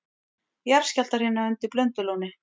Jarðskjálftahrina undir Blöndulóni